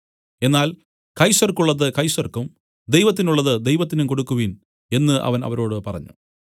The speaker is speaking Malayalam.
എന്നാൽ കൈസർക്കുള്ളത് കൈസർക്കും ദൈവത്തിനുള്ളത് ദൈവത്തിനും കൊടുക്കുവിൻ എന്നു അവൻ അവരോട് പറഞ്ഞു